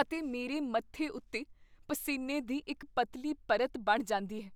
ਅਤੇ ਮੇਰੇ ਮੱਥੇ ਉੱਤੇ ਪਸੀਨੇ ਦੀ ਇੱਕ ਪਤਲੀ ਪਰਤ ਬਣ ਜਾਂਦੀ ਹੈ।